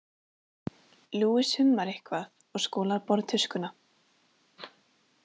Luis hummar eitthvað og skolar borðtuskuna.